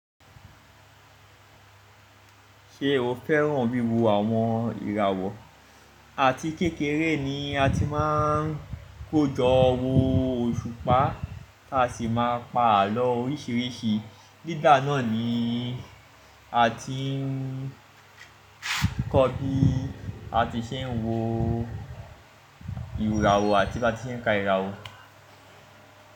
Ṣé o fẹ́ràn wíwo àwọn ìràwọ̀? Àti kékeré ni a ti máa ń kójọ wo òṣùpá a sì máa pa àlọ́ oríṣiríṣi. Nígbà náà ni a ti ń kọ́ bí a ti ṣe ń wo ìràwọ̀ àti bá ti ṣe ń ka ìràwọ̀